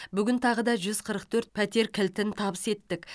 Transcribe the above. бүгін тағы да жүз қырық төрт пәтер кілтін табыс еттік